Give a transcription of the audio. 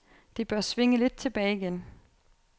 Det bør svinge lidt tilbage igen.